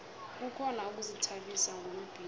kukhona ukuzithabisa ngombhino